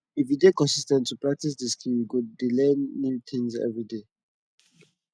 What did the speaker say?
if you de consis ten t to de practice di skill you go de learn new things everyday